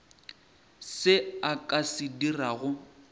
se a ka se dirago